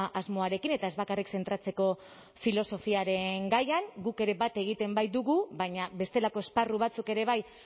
asmoarekin eta ez bakarrik zentratzeko filosofiaren gaian guk ere bat egiten baitugu baina bestelako esparru batzuk ere bai